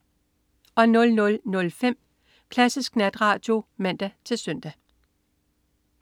00.05 Klassisk Natradio (man-søn)